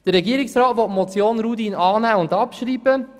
Der Regierungsrat will die Motion Rudin annehmen und abschreiben.